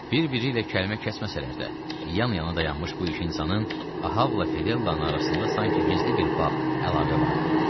Bir-biri ilə kəlmə kəsməsələr də, yan-yana dayanmış bu iki insanın Ahabla Fedellanın arasında sanki gizli bir bağ, əlaqə vardı.